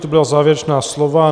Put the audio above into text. To byla závěrečná slova.